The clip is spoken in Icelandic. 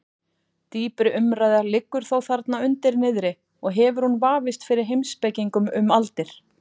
Dýpri umræða liggur þó þarna undir niðri og hefur hún vafist fyrir heimspekingum um aldir.